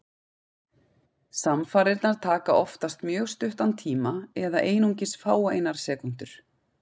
Samfarirnar taka oftast mjög stuttan tíma, eða einungis fáeinar sekúndur.